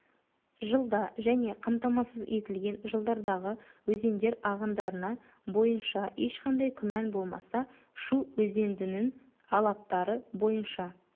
жылда және қамтамасыз етілген жылдардағы өзендер ағындарына бойынша ешқандай күмән болмаса шу өзендінің алаптары бойынша